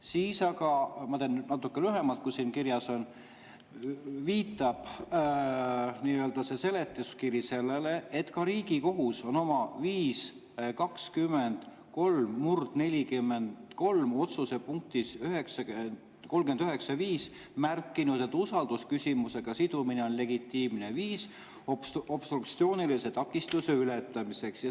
Siis aga – ma teen nüüd natuke lühemalt, kui siin kirjas on – viitab see seletuskiri sellele, et ka Riigikohus on oma 5‑20‑3/43 otsuse punktis 39.5 märkinud, et usaldusküsimusega sidumine on legitiimne viis obstruktsioonilise takistuse ületamiseks.